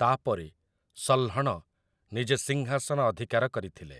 ତା' ପରେ ସହ୍ଲଣ ନିଜେ ସିଂହାସନ ଅଧିକାର କରିଥିଲେ ।